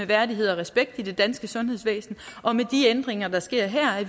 værdighed og respekt i det danske sundhedsvæsen og med de ændringer der sker her